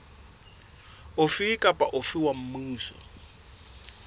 ofe kapa ofe wa mmuso